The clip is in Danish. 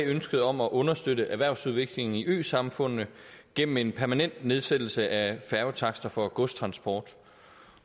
ønsket om at understøtte erhvervsudviklingen i øsamfundene gennem en permanent nedsættelse af færgetakster for godstransport